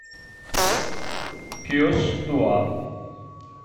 пес два